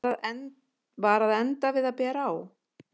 Var að enda við að bera á